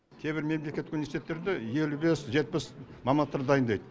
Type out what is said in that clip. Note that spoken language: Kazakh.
кейбір мемлекеттік университеттерде елу бес жетпіс мамандықтар дайындайды